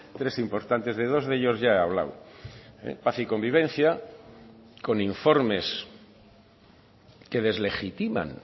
tres importantes de dos de ellos ya he hablado paz y convivencia con informes que deslegitiman